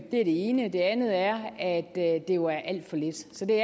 det ene det andet er at det jo er alt for lidt så det